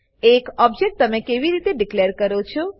એક ઓબજેક્ટ તમે કેવી રીતે ડીકલેર કરો છો